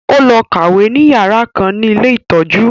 Ó lọ kàwé ní yàrá kan ní ilé ìtọ́jú